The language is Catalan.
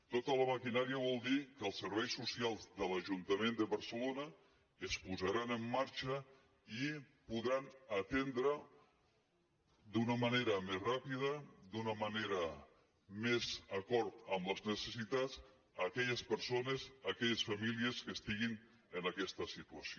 tota la maquinària vol dir que els serveis socials de l’ajuntament de barcelona es posaran en marxa i podran atendre d’una manera més ràpida d’una manera més d’acord amb les necessitats aquelles persones aquelles famílies que estiguin en aquesta situació